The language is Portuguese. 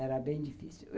Era bem difícil.